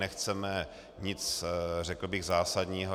Nechceme nic, řekl bych, zásadního.